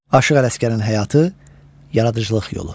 Aşıq Ələsgərin həyatı, yaradıcılıq yolu.